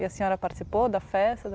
E a senhora participou da festa?